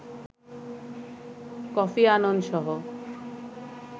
Kofi Annan সহ